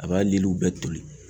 A b'a liliw bɛɛ toli.